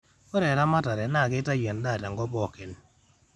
ore eramatare naa keitayu en'daa te nkop pooki